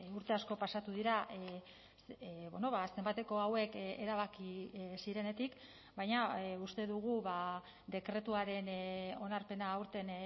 urte asko pasatu dira zenbateko hauek erabaki zirenetik baina uste dugu dekretuaren onarpena aurten